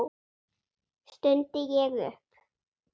stundi ég upp.